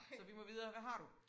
Så vi må videre hvad har du?